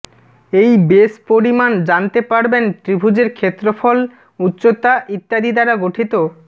এই বেস পরিমাণ জানতে পারবেন ত্রিভুজের ক্ষেত্রফল উচ্চতা ইত্যাদি দ্বারা গঠিত